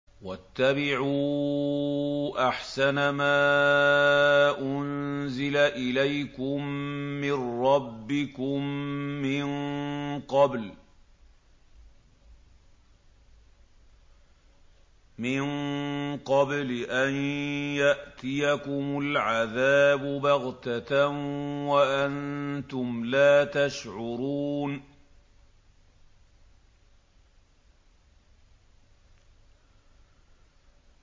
وَاتَّبِعُوا أَحْسَنَ مَا أُنزِلَ إِلَيْكُم مِّن رَّبِّكُم مِّن قَبْلِ أَن يَأْتِيَكُمُ الْعَذَابُ بَغْتَةً وَأَنتُمْ لَا تَشْعُرُونَ